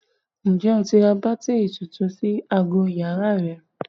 Ǹjẹ́ o ti ra bátìrì tuntun sí aago yàrá rẹ?